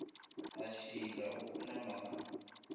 a šila o khunama ka